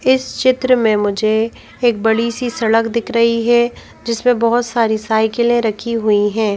इस चित्र में मुझे एक बड़ी सी सड़क दिख रही है जिसमें बहुत सारी साइकिलें रखी हुई हैं।